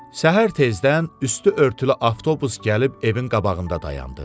Səhər tezdən üstü örtülü avtobus gəlib evin qabağında dayandı.